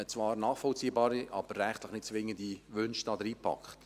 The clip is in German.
Man hat zwar nachvollziehbare, aber rechtlich nicht zwingende Wünsche darin verpackt.